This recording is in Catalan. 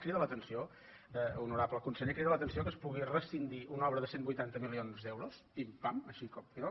crida l’atenció honorable conseller que es pugui rescindir una obra de cent i vuitanta milions d’euros pim pam així com